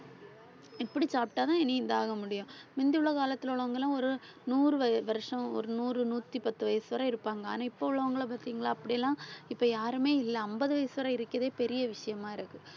இப்படி சாப்பிட்டாதான் இனி இதாக முடியும் மிந்தியுள்ள காலத்துல உள்ளவங்கெல்லாம் ஒரு நூறு வய~ வருஷம் ஒரு நூறு நூத்தி பத்து வயசு வரை இருப்பாங்க. ஆனா இப்ப உள்ளவங்களை பார்த்தீங்களா அப்படியெல்லாம் இப்ப யாருமே இல்லை ஐம்பது வயசு வரை இருக்கிறதே பெரிய விஷயமா இருக்கு